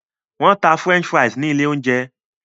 Wọn tá french fries ní ilé oúnjẹ